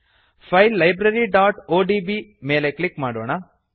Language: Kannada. ಫೈಲ್ libraryಒಡಿಬಿ ಮೇಲೆ ಕ್ಲಿಕ್ ಮಾಡೋಣ